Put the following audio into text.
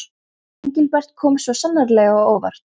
Engilbert kom svo sannarlega á óvart.